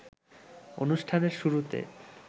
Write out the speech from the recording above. অনুষ্ঠানের শুরুতে